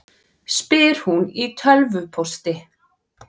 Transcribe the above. spyr hún í tölvupósti.